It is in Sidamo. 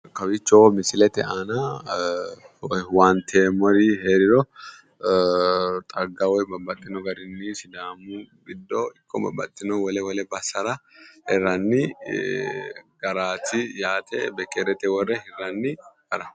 Kowiicho misilete aana owaanteemmori heeriro xagga woy sidaamu giddo babbaxino wole wole basera hirranni garaati bekkeerete worre hirranni.